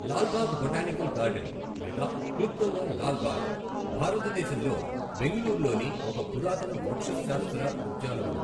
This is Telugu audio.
లాల్ బాగ్ బొటానికల్ గార్డెన్ లేదా క్లుప్తంగా లాల్ బాగ్ భారతదేశంలో బెంగళూరులోని ఒక పురాతన వృక్షశాస్త్ర ఉద్యానవనం.